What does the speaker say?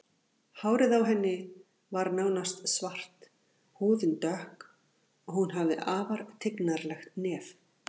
Hárið á henni var nánast svart, húðin dökk og hún hafði afar tignarlegt nef.